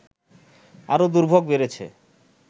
আরো দুর্ভোগ বেড়েছে